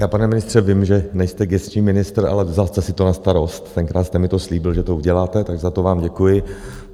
Já, pane ministře, vím, že nejste gesční ministr, ale vzal jste si to na starost, tenkrát jste mi to slíbil, že to uděláte, tak za to vám děkuji.